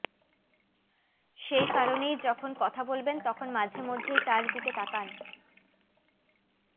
সেই কারণেই যখন কথা বলবেন তখন মাঝে মধ্যেই তাঁর দিকে তাকান